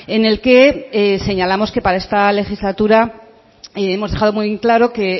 en el que señalamos que para esta legislatura hemos dejado muy claro que